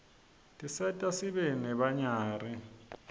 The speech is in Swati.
tiserta sibe nebanyari